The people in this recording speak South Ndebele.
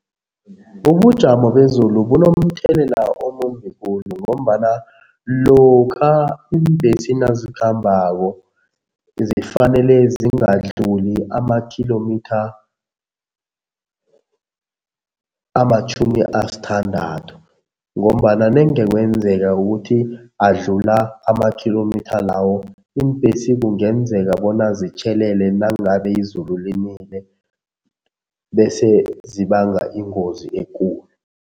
Ubujamo bezulu bunomthelela omumbi khulu ngombana lokha iimbhesi nazikhambako zifanele zingadluli amakhilomitha amatjhumi asithandathu ngombana nenge kwenzeka ukuthi adlula amakhilomitha lawo, iimbhesi kungenzeka bona zitjhelele nangabe izulu linile bese zibanga ingozi ekulu.